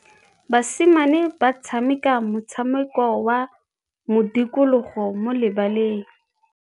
Basimane ba tshameka motshameko wa modikologô mo lebaleng.